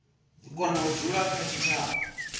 kona u dzula kha tshitshavha